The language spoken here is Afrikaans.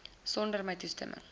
sonder my toestemming